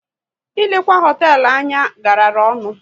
Ilekwa hoteelu anya gara ọnụ